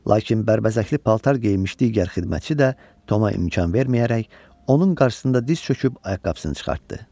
Lakin bərbəzəkli paltar geyinmiş digər xidmətçi də Toma imkan verməyərək onun qarşısında diz çöküb ayaqqabısını çıxartdı.